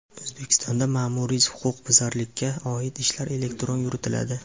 O‘zbekistonda Ma’muriy huquqbuzarlikka oid ishlar elektron yuritiladi.